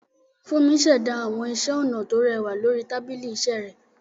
Fúnmi ṣẹ̀dá àwọn iṣẹ́ ọnà tó rẹwà lórí tábìlì iṣẹ́ rẹ̀.